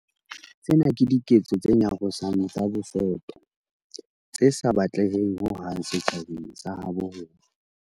Tsena ke diketso tse nyarosang tsa bosoto tse sa batleheng ho hang setjhabeng sa habo rona.